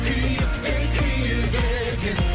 күйік те күйік екен